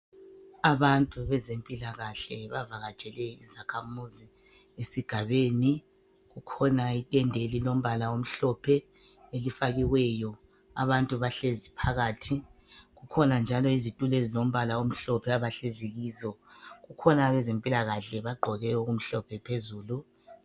Abantu bezempilakahle bavakatshele izakhamuzi esigabeni. Kukhona itende elilombala omhlophe elelifakiweyo. Abantu bahlezi phakathi. Kukhona njalo izitulo ezilombala omhlophe abahlezi kizo. Kukhona abezempilakahle bagqoke okumhlophe phezulu.